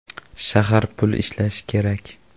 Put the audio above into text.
Shahar pul ishlashi kerak.